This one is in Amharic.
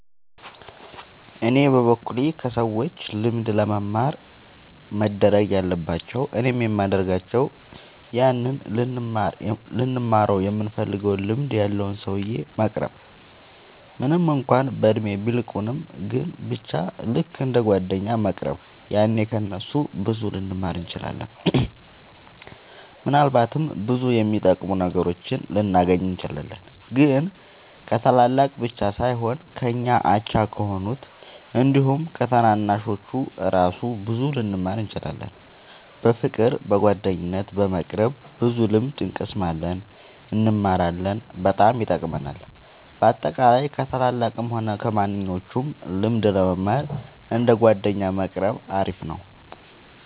እኔ በበኩሌ ከሰዎች ልምድ ለመማር መደረግ ያለባቸው እኔም የሚደርጋቸው ያንን ልንማረው ይምንፈልገውን ልምድ ያለውን ሰውዬ መቅረብ ምንም እንኳን በእድሜ ቢልቁንም ግን በቻ ልክ እንደ ጓደኛ መቅረብ ያኔ ከ እነሱ ብዙ ልንማር እንችላለን። ምናልባትም ብዙ የሚጠቅሙ ነገሮችን ልናገኝ እንችላለን። ግን ከታላላቅ ብቻ ሳይሆን ከኛ አቻ ከሆኑት አንዲሁም ከታናናሾቹ እራሱ ብዙ ልንማር እንችላለን። በፍቅር በጓደኝነት በመቅረብ ብዙ ልምድ እንቀስማለን እንማራለን በጣም ይጠቅማል። በአጠቃላይ ከ ታላላቅም ሆነ ከማንኞቹም ልምድ ለመማር እንደ ጓደኛ መቆረብ አሪፍ ነው